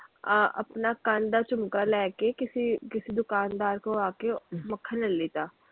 ਆਪਣਾ ਕੰਨ ਦਾ ਝੁਮਕਾ ਲੈ ਕੇ ਕਿਸੇ ਕਿਸੀ ਦੁਕਾਨਦਾਰ ਕੋਲ ਆ ਕੇ ਮੱਖਣ ਲੈ ਲਿੱਤਾ।